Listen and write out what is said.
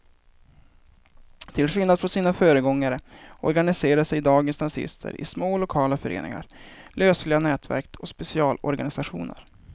Till skillnad från sina föregångare organiserar sig dagens nazister i små lokala föreningar, lösliga nätverk och specialorganisationer.